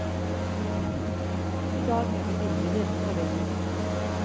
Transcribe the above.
I dag henger bildet hjemme på veggen.